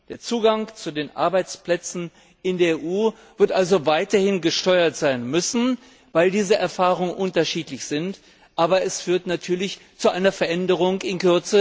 Der Zugang zu den Arbeitsplätzen in der EU wird also weiterhin gesteuert sein müssen, weil diese Erfahrungen unterschiedlich sind, aber es wird natürlich in Kürze zu einer Veränderung führen.